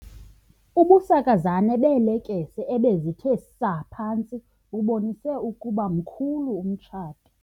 Ubusakazane beelekese ebezithe saa phantsi bubonise ukuba mkhulu umtshato.